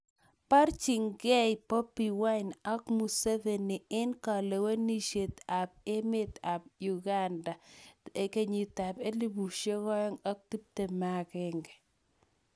Baarchingei Bobi wine ak Museveni eng' kalewenisiet ap emet ap uganda 2021